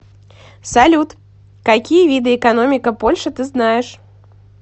салют какие виды экономика польши ты знаешь